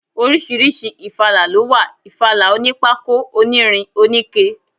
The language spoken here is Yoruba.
Oríṣiríṣi ifala ló wà, ìfala onípákó, onírin, oníke.